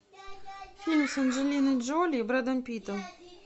фильм с анджелиной джоли и брэдом питтом